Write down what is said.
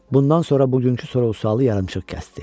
Bundan sonra bugünkü sorğu-sualı yarımçıq kəsdi.